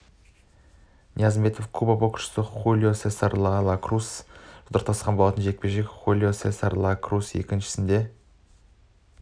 ниязымбетов куба боксшысы хулио сесар ла круспен жұдырықтасқан болатын жекпе-жек хулио сесар ла крус еншісіне